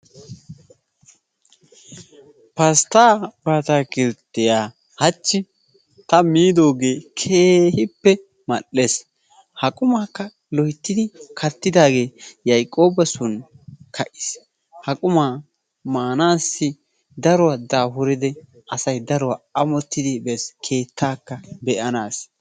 Pasttaa baatakilttiyaa hachchi ta miidoogee keehippe mal"ees. Ha qumaakka loyttidi kattidaagee yayiqooba soon ka"iis. Ha qummaa maanaassi daruwaa daafuridi asay daruwaa amottidi bees keettaakka be"anaassi.